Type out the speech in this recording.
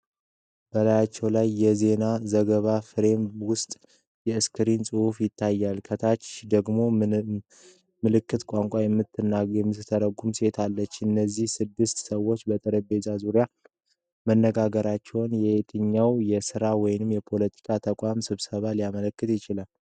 በላያቸው ላይ በዜና ዘገባ ፍሬም ውስጥ የ"እስክንድርያ" ጽሑፍ ይታያል። ከታች ደግሞ ምልክት ቋንቋ የምትተረጉም ሴት አለች። እነዚህ ስድስት ሰዎች በጠረጴዛው ዙሪያ መገናኘታቸው የየትኛውን የሥራ ወይም የፖለቲካ ተቋም ስብሰባ ሊያመለክት ይችላል?